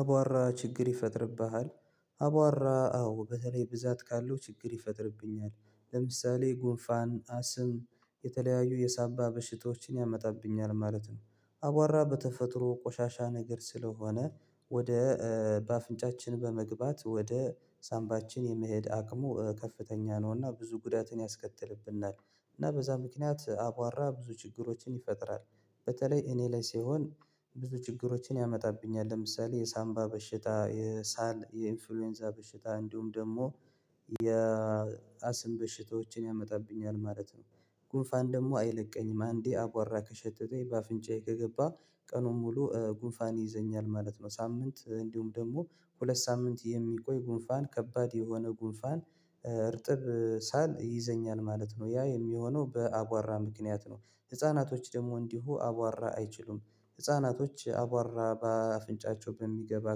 አቧራ ችግር ይፈጥርብሃል? አቧራ አዎ በተለይ ብዛት ካለው ችግር ይፈጥርብኛል ለምሳሌ ጉንፋን አስም የተለያዩ የሳንባ በሽታዎችን ያመጣብኛል ማለት ነው። አቧራ በተፈጥሮ ቆሻሻ ነገር ስለሆነ ወደ በአፍንጫችን በመግባት ወደ ሳምባችን የመሄድ አቅሙ ከፍተኛ ነው እና ብዙ ጉዳትን ያስከትልብናል። እና በዛ ምክንያት አቧራ ብዙ ችግሮችን ይፈጥራል። በተለይ እኔ ላይ ሲሆን ብዙ ችግሮችን ያመጣብኛል ለምሳሌ የሳንባ በሽታ የሳል የኢንፍሉዌንዛ በሽታ እንዲሁም ደግሞ የአስም በሽታዎችን ያመጣብኛል ማለት ነው። ጉንፋን ደግሞ አይለቀኝም አንዴ አቧራ ከሸተተኝ በአፍንጫዬ ከገባ ቀኑን ሙሉ ጉንፋን ይይዘኛል ማለት ነው። ሳምንት እንዲሁም ደግሞ ሁለት ሳምንት የሚቆይ ጉንፋን ከባድ የሆነ ጉንፋን እርጥብ ሳል ይይዘኛል ማለት ነው ያ የሚሆነው በአቧራ ምክንያት ነው። ህፃናቶች ደግሞ እንዲሁ አቧራ አይችሉም ህፃናቶች አቧራ በአፍንጫቸው በሚገባ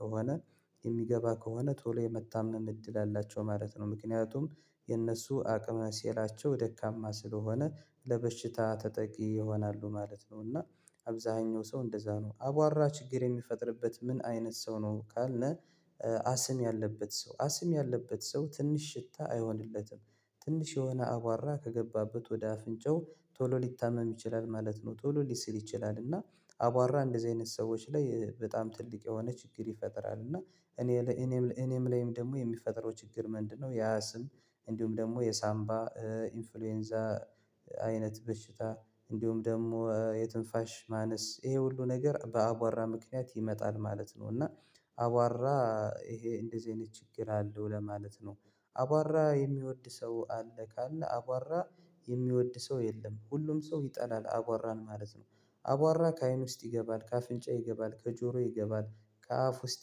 ከሆነ የሚገባ ከሆነ ቶሎ የመታመም እድል አላቸው ማለት ነው። ምክንያቱም የእነሱ አቅመ ሴላቸው ደካማ ስለሆነ ለበሽታ ተጠቂ ይሆናሉ ማለት ነው። እና አብዝሃኛው ሰው እንደዛ ነው አቧራ ችግር የሚፈጥርበት ምን አይነት ሰው ነው ካልን? አስም ያለበት ሰው አስም ያለበት ሰው ትንሽ ሽታ አይሆንለትም ትንሽ የሆነ አቧራ ከገባበት ወደ አፍንጫው ቶሎ ሊታመም ይችላል ማለት ነው። ቶሎ ሊስል ይችላል እና አቧራ እንደዚህ አይነት ሰዎች ላይ በጣም ትልቅ የሆነ ችግር ይፈጥራል። እና እኔ ላይ እኔም ላይ እኔም ላይም ደግሞ የሚፈጠረው ችግር ምንድነው? ያ አስም እንዲሁም ደግሞ የሳንባ ኢንፍሉዌንዛ አይነት በሽታ እንዲሁም ደግሞ የትንፋሽ ማነስ ይሄ ሁሉ ነገር በአቧራ ምክንያት ይመጣል ማለት ነው። እና አቧራ ይሄ እንደዚህ አይነት ችግር አለው ለማለት ነው። አቧራ የሚወድ ሰው አለ ካለ አቧራ የሚወድ ሰው የለም ሁሉም ሰው ይጠላል አቧራን ማለት ነው። አቧራ ከአይን ውስጥ ይገባል ከአፍንጫ ይገባል ከጆሮ ይገባል ከአፍ ውስጥ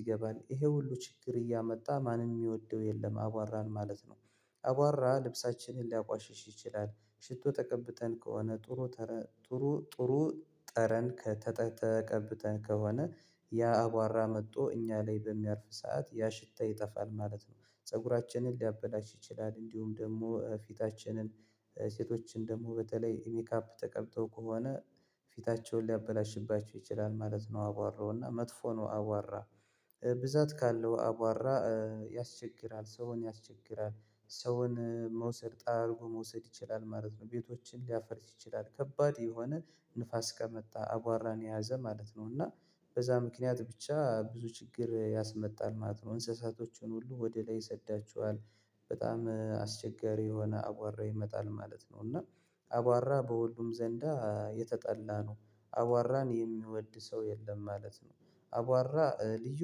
ይገባል ይሄ ሁሉ ችግር እያመጣ ማንም ሚወደው የለም አቧራን ማለት ነው። አቧራ ልብሳችንን ሊያቆሽሽ ይችላል ሽቶ ተቀብተን ከሆነ ጥሩ ተረ ጥሩ ጥሩ ጠረን ከተ ተቀብተን ከሆነ ያ አቧራ መጥቶ እኛ ላይ በሚያርፍ ሰዓት ያ ሽታ ይጠፋል ማለት ነው። ፀጉራችንን ሊያበላሽ ይችላል እንዲሁም ደግሞ ፊታችንን ሴቶችን ደግሞ በተለይ ሜካፕ ተቀብተው ከሆነ ፊታቸውን ሊያበላሽባቸው ይችላል ማለት ነው። አቧራው እና መጥፎ ነው አቧራ ብዛት ካለው አቧራ ያስቸግራል ሰውን ያስቸግራል። ሰውን መውሰድ ጠራርጎ መውሰድ ይችላል ማለት ነው ቤቶችን ሊያፈርስ ይችላል ከባድ የሆነ ንፋስ ከመጣ አቧራን የያዘ ማለት ነው። እና በዛ ምክንያት ብቻ ብዙ ችግር ያስመጣል ማለት ነው። እንስሳቶቹን ሁሉ ወደ ላይ ይሰዳቸዋል በጣም አስቸጋሪ የሆነ አቧራ ይመጣል ማለት ነው። እና አቧራ በሁሉም ዘንዳ የተጠላ ነው አቧራን የሚወድ ሰው የለም ማለት ነው። አቧራ ልዩ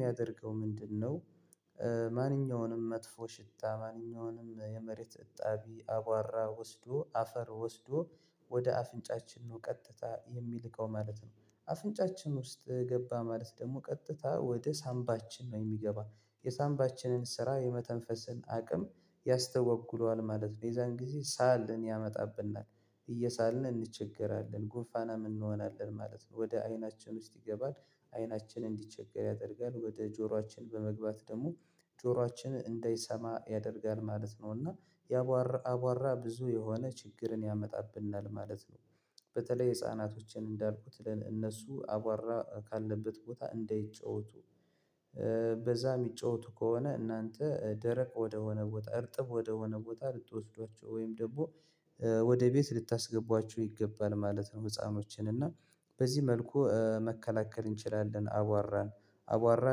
ሚያደርገው ምንድነው? ማንኛውንም መጥፎ ሽታ ማንኛውንም የመሬት እጣቢ አቧራ ወስዶ አፈር ወስዶ ወደ አፍንጫችን ነው ቀጥታ የሚልከው ማለት ነው። አፍንጫችን ውስጥ ገባ ማለት ደግሞ ቀጥታ ወደ ሳምባችን ነው የሚገባ የሳምባችንን ስራ የመተንፈስን አቅም ያስተጓጉለዋል ማለት ነው። የዛን ጊዜ ሳልን ያመጣብናል እየሳልን እንቸገራለን ጉንፋናም እንሆናለን ማለት ነው። ወደ አይናችን ውስጥ ይገባል አይናችን እንዲቸገር ያደርጋል ወደ ጆሯችን በመግባት ደግሞ ጆሯችን እንዳይሰማ ያደርጋል ማለት ነው። እና የአቧራ አቧራ ብዙ የሆነ ችግርን ያመጣብናል ማለት ነው። በተለይ ህፃናቶችን እንዳልኩት ለእነሱ አቧራ ካለበት ቦታ እንዳይጫወቱ በዛ ሚጫወቱ ከሆነ እናንተ ደረቅ ወደሆነ ቦታ እርጥብ ወደሆነ ቦታ ልትወስዷቸው ወይም ደግሞ ወደ ቤት ልታስገቧቸው ይገባል ማለት ነው። ህፃኖችን እና በዚህ መልኩ መከላከል እንችላለን አቧራን። አቧራ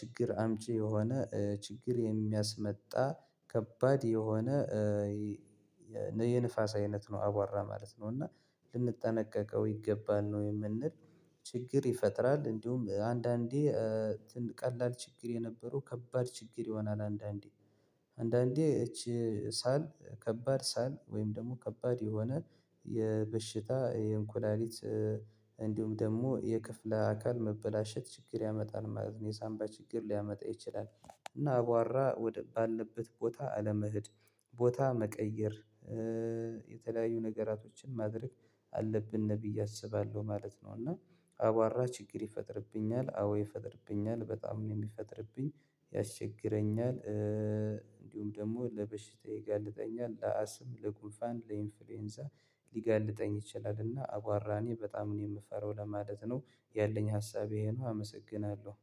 ችግር አምጪ የሆነ ችግር የሚያስመጣ ከባድ የሆነ የንፋስ አይነት ነው አቧራ ማለት ነው። እና ልንጠነቀቀው ይገባል ነው የምንል። ችግር ይፈጥራል እንዲሁም አንዳንዴ ትን ቀላል ችግር የነበረው ከባድ ችግር ይሆናል። አንዳንዴ አንዳንዴ እቺ ሳል ከባድ ሳል ወይም ደግሞ ከባድ የሆነ የበሽታ የእንኩላሊት እንዲሁም ደግሞ የክፍለ አካል መበላሸት ችግር ያመጣል ማለት ነው። የሳምባ ችግር ሊያመጣ ይችላል። እና አቧራ ወደ ባለበት ቦታ አለመሄድ ቦታ መቀየር የተለያዩ ነገራቶችን ማድረግ አለብን ብዬ አስባለሁ ማለት ነው። እና አቧራ ችግር ይፈጥርብኛል አዎ ይፈጥርብኛል በጣም ነው የሚፈጥርብኝ። ያስቸግረኛል እንዲሁም ደግሞ ለበሽታ ይጋልጠኛል ለአስም ለጉንፋን ለኢንፍሉዌንዛ ሊጋልጠኝ ይችላል እና አቧራ እኔ በጣም ነው የምፈራው ለማለት ነው። ያለኝ ሀሳብ ይሄ ነው አመሰግናለሁ።